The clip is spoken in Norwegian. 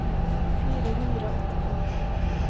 fire hundre og åttifem